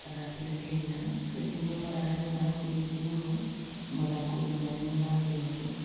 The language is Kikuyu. Athaki a Kenya kaingĩ nĩo maraheo thahabu nyingĩ mũno mathako-inĩ manene ma thĩ yothe.